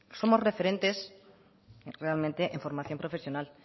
somos referentes realmente en formación profesional